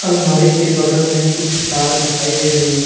अलमारी के बगल में कुछ तार दिखाई दे रही है।